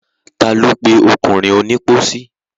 Ta lo pe ọkùnrin onípósí?